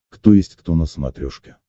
кто есть кто на смотрешке